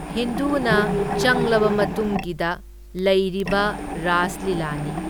ꯍꯤꯟꯗꯨꯅ ꯆꯪꯂꯕ ꯃꯇꯨꯡꯒꯤꯗ ꯂꯩꯔꯤꯕ ꯔꯥꯁ ꯂꯤꯂꯥꯅꯤ꯫